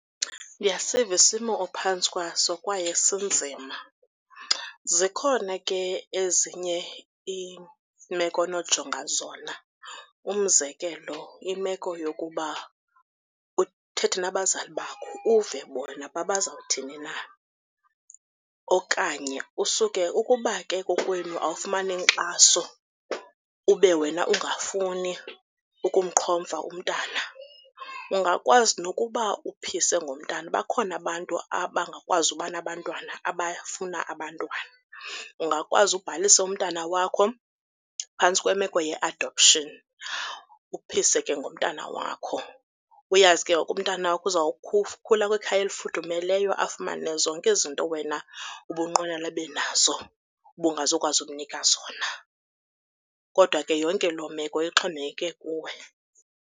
Ndiyasiva isimo ophantsi kwaso kwaye sinzima. Zikhona ke ezinye iimeko onojonga zona, umzekelo imeko yokuba uthethe nabazali bakho uve bona uba bazawuthini na okanye usuke ukuba ke kokwenu awufumani inkxaso ube wena ungafuni ukumqhomfa umntana, ungakwazi nokuba uphise ngomntana. Bakhona abantu abangakwazi uba nabantwana abafuna abantwana. Ungakwazi ubhalise umntana wakho phantsi kwemeko ye-adoption, uphise ke ngumntana wakho. Uyazi ke umntana wakho uzawukhula kwikhaya elifudumeleyo afumane zonke izinto wena ubunqwenela abe nazo ubungazukwazi umnikwa zona. Kodwa ke yonke loo meko ixhomekeke kuwe.